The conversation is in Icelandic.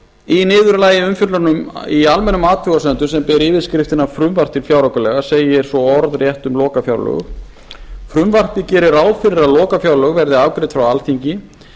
í niðurlagi umfjöllunar í almennum athugasemdum sem ber yfirskriftina frumvarp til fjáraukalaga segir svo orðrétt um lokafjárlögin frumvarpið gerir ráð fyrir að lokafjárlög verði afgreidd frá alþingi